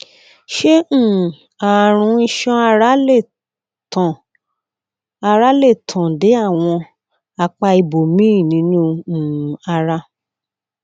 ṣé um àrùn iṣan ara lè tàn ara lè tàn dé àwọn apá ibòmíì nínú um ara